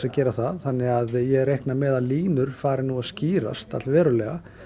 að gera það þannig að ég reikna með að línur fari nú að skýrast all verulega